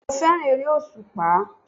Bẹ́ẹ̀ni mo fẹ́ràn eré òsùpá